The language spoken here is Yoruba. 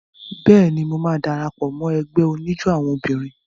Bẹ́ẹ̀ni, mo máa dara pọ̀ mọ́ ẹgbẹ́ oníjó àwọn obìnrin.